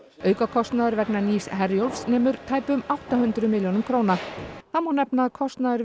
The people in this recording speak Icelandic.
aukakostnaður vegna nýs Herjólfs nemur tæpum átta hundruð milljónum þá má nefna að kostnaður